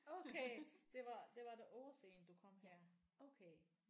Okay det var det var det årsagen du kom her okay